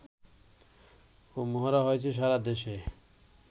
ও মহড়া হয়েছে সারা দেশে